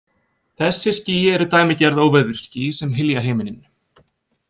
Þessi ský eru dæmigerð óveðursský sem hylja himininn.